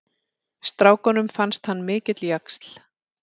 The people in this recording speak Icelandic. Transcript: Strákunum fannst hann mikill jaxl.